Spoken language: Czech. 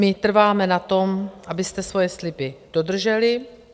My trváme na tom, abyste svoje sliby dodrželi.